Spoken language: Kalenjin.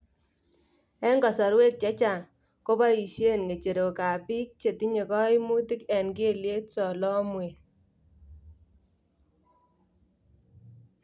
Eng kosorweek chechaang� koboisyeen ng�eecherookaab biik chetinyekayimuut eng keelyek solomweet